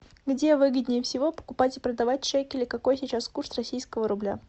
где выгоднее всего покупать и продавать шекели какой сейчас курс российского рубля